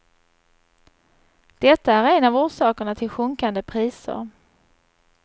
Detta är en av orsakerna till sjunkande priser.